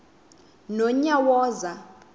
nonyawoza